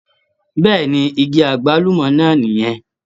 Bẹ́ẹ̀ni, igi agbalumọ náà nì yẹn.